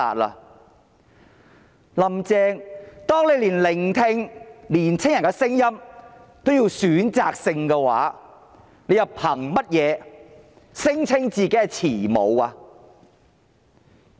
"林鄭"，當你連聆聽年輕人的聲音也是選擇性的話，你憑甚麼聲稱自己是慈母？